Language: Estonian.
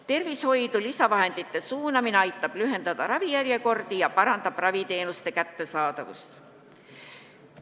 Tervishoidu lisavahendite suunamine aitab lühendada ravijärjekordi ja parandab raviteenuste kättesaadavust.